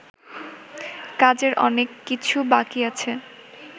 কাজের অনেককিছু বাকি আছে